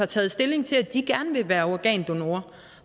taget stilling til at de gerne vil være organdonorer